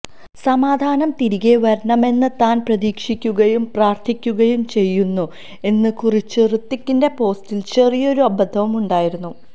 സമാധാനം തിരികെ വരണമെന്ന് താന് പ്രതീക്ഷിക്കുകയും പ്രാര്ത്ഥിക്കുകയും ചെയ്യുന്നു എന്ന് കുറിച്ച ഹൃത്വിക്കിന്റെ പോസ്റ്റില് ചെറിയൊരു അബദ്ധവുമുണ്ടായിരുന്നു